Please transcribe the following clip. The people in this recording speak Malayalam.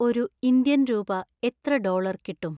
ഒരു ഇന്ത്യൻ രൂപ എത്ര ഡോളർ കിട്ടും